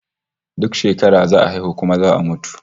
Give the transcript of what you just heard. Duk shekara za a haihu kuma za a mutu